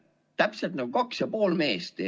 Täpselt nagu kaks ja pool meest.